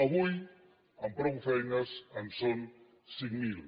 avui amb prou feines en són cinc mil